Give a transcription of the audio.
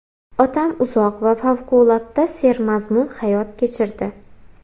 Otam uzoq va favqulodda sermazmun hayot kechirdi.